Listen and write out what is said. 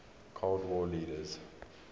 cold war leaders